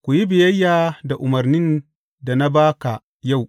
Ku yi biyayya da umarnin da na ba ka yau.